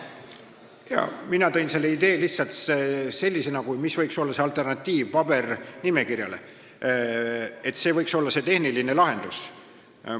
Jaa, mina tõin selle idee lihtsalt sellisena, mis võiks olla alternatiiv pabernimekirjale, et see võiks olla see tehniline lahendus.